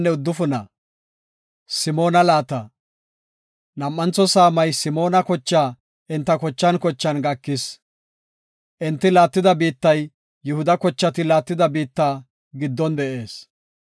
Nam7antho saamay Simoona kochaa enta kochan kochan gakis. Enti laattida biittay Yihuda kochati laattida biitta giddon de7ees.